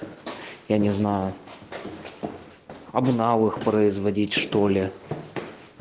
я не знаю обнал их производить что-ли